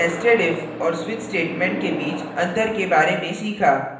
और nestedif और switch statements के बीच अंतर के बारे में सीखा